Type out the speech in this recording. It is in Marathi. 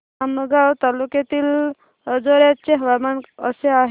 आमगाव तालुक्यातील अंजोर्याचे हवामान कसे आहे